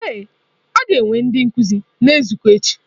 Ee, a ga-enwe ndị nkuzi na-ezukọ echi.